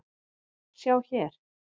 Sjá hér